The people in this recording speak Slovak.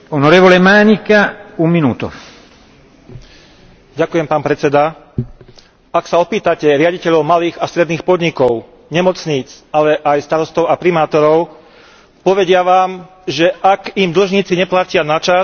Ak sa opýtate riaditeľov malých a stredných podnikov, nemocníc, ale aj starostov a primátorov, povedia vám, že ak im dlžníci neplatia načas, môžu skrachovať alebo sa dostať do nútenej správy.